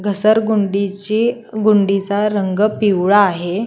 घसरगुंडीची गुंडीचा रंग पिवळा आहे.